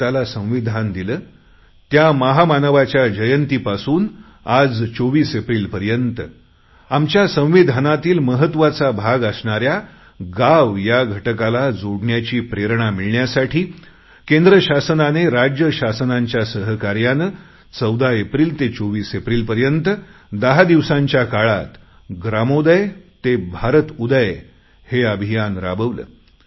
भारताला संविधान दिले त्या महामानवाच्या जयंतीपासून आज 24 एप्रिल पर्यंत आमच्या संविधानातील महत्वाचा भाग असणाऱ्या गाव या घटकाला जोडण्याची प्रेरणा मिळण्यासाठी केंद्र शासनाने राज्य शासनाच्या सहकार्याने 14 एप्रिल ते 24 एप्रिल पर्यंत दहा दिवसांच्या काळात ग्रामोदय ते भारतउदय हे अभियान राबवले